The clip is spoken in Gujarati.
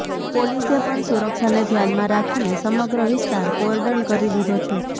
પોલીસે પણ સુરક્ષાને ધ્યાનમાં રાખીને સમગ્ર વિસ્તાર કોર્ડન કરી દીધો છે